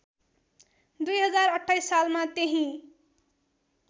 २०२८ सालमा त्यहीँ